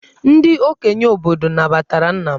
Ndị okenye obodo nabatara nna m.